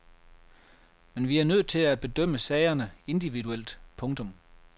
Men vi er nødt til at bedømme sagerne individuelt. punktum